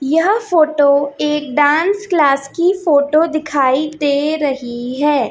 यह फोटो एक dance class की फोटो दिखाई दे रही है।